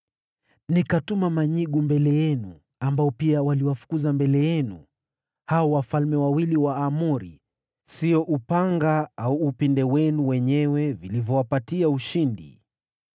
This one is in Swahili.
Nikatuma manyigu mbele yenu, ambao pia waliwafukuza mbele yenu, hao wafalme wawili wa Waamori. Siyo upanga au upinde wenu wenyewe vilivyowapatia ushindi.